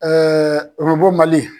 Orobo Mali.